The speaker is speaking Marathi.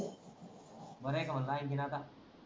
बर आहे का मन्लो